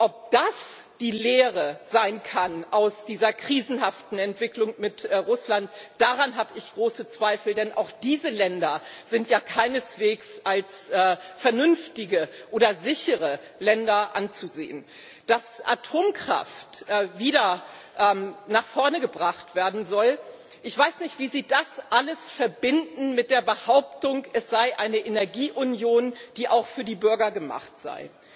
Ob das die Lehre sein kann aus dieser krisenhaften Entwicklung mit Russland, daran habe ich große Zweifel, denn auch diese Länder sind ja keineswegs als vernünftige oder sichere Länder anzusehen. Dass Atomkraft wieder nach vorn gebracht werden soll ich weiß nicht, wie Sie das alles verbinden wollen mit der Behauptung, es sei eine Energieunion, die auch für die Bürger gemacht sei.